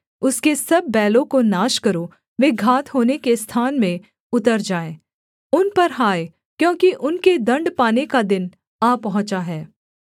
उसके सब बैलों को नाश करो वे घात होने के स्थान में उतर जाएँ उन पर हाय क्योंकि उनके दण्ड पाने का दिन आ पहुँचा है